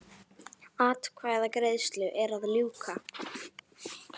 Atkvæðagreiðslu er að ljúka